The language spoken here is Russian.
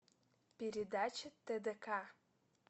передача тдк